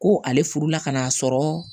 Ko ale furu la ka n'a sɔrɔ